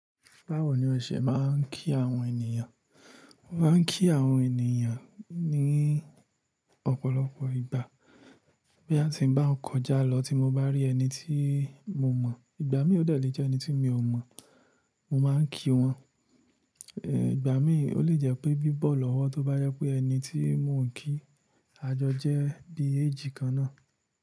Báwo ni o ṣe máa ń kí àwọn ènìyàn? Mo máa ń kí àwọn ènìyàn ní ọ̀pọ̀lọpọ̀ ìgbà boya ti n ba kọjá lọ tí mo bá rí ẹni tí mo mọ̀. Ìgbà mí ò dẹ̀ lé jẹ́ ẹni tí mi ò mọ̀, mo máa ń kí wọn. Ìgbà míi ó lè jẹ́ pé bí bọ́ lọ́wọ́ tó bá jẹ pé ẹni tí mò ń kí àjọjẹ́ bií age kan náà.